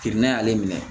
Kirinan y'ale minɛ